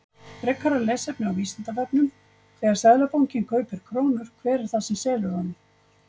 Frekara lesefni á Vísindavefnum: Þegar Seðlabankinn kaupir krónur, hver er það sem selur honum?